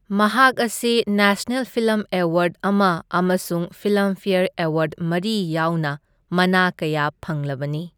ꯃꯍꯥꯛ ꯑꯁꯤ national film award ꯑꯃ ꯑꯃꯁꯨꯡ ꯐꯤꯜꯝꯐ꯭ꯌꯔ ꯑꯦꯋꯥꯔꯗ ꯃꯔꯤ ꯌꯥꯎꯅ ꯃꯅꯥ ꯀꯌꯥ ꯐꯪꯂꯕꯅꯤ꯫